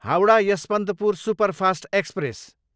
Howrah, Yesvantpur superfast express